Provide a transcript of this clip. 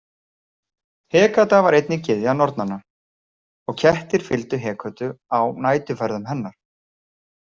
Hekata var einnig gyðja nornanna, og kettir fylgdu Hekötu á næturferðum hennar.